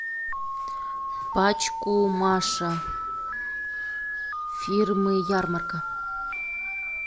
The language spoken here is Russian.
пачку маша фирмы ярмарка